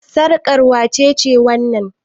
Sarƙar wace wannan?